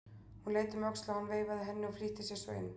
Hún leit um öxl og hann veifaði henni og flýtti sér svo inn.